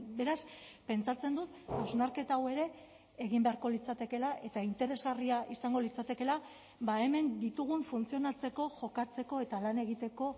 beraz pentsatzen dut hausnarketa hau ere egin beharko litzatekeela eta interesgarria izango litzatekeela hemen ditugun funtzionatzeko jokatzeko eta lan egiteko